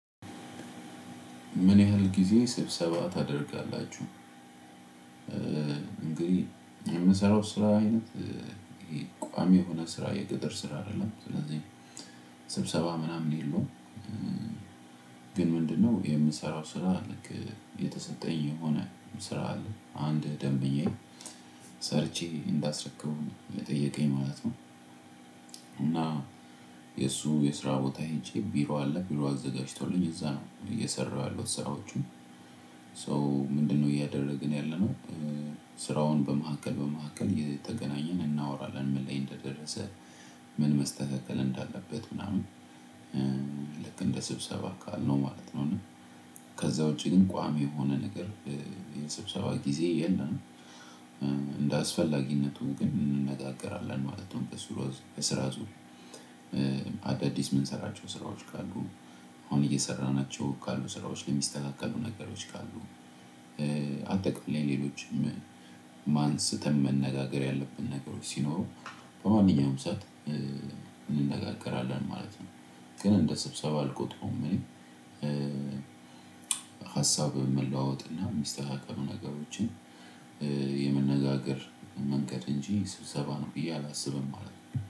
ምን ያህል ጊዜ ስብሰባ ታደርጋላችሁ? እንግዲህ የምሰራው ስራ አይነት ይሄ ቋሚ የሆነ ስራ የቅጥር ስራ አይደለም ስለዚህ ስብሰባ ምናምን የለውም። ግን ምንድነው የምሰራው ስራ ልክ የተሰጠኝ የሆነ ስራ አለ አንድ ደንበኛየ ሰርቼ እንዳስረከቡኝ የጠየቀኝ ማለት ነው። እና የእሱ የስራ ቦታ ሄጄ ቢሮ አለ ቢሮ አዘጋጅቶልኝ እዛ ነው እየሰራሁ ያሉት ስራዎቹ። ሶ ምንድነው እያደረግን ያለነው ስራውን በመካከል በመካከል የተገናኘን እናወራለን ምን ላይ እንደደረሰ ምን መስተካከል እንዳለበት ምናምን። ልክ እንደ ስብሰባ ካልነው ማለት ነው። ከዛ ውጪ ግን ቋሚ የሆነ ነገር የሰብሰባ ጊዜ የለም። እንደ አስፈላጊነቱ ግን እንነጋገራለን ማለት ነው። ቀስ ብሎ በስራ ጥሩ። አዳዲስ የምንሰራቸው ስራዎች ካሉ አሁን እየሰራናቸው ካሉ ስራዎች የሚስተካከሉ ነገሮች ካሉ። አጠቃላይ ሌሎችም ነገሮችም አንስተን ሲኖሩ እንነጋገራለን ማለት ነው። ሀሳብ መለዋዎጥና የሚስተካከሉ ነገሮችን የመነጋገር መንገድ እንጂ ስብሰባ ነው ብዬ አላስብም ማለት ነው።